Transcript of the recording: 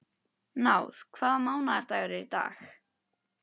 Náð, hvaða mánaðardagur er í dag?